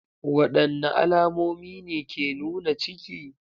Wadanne alamomi ne ke nuna ciki?